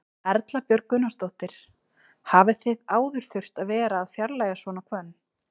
Erla Björg Gunnarsdóttir: Hafið þið áður þurft að vera að fjarlægja svona hvönn?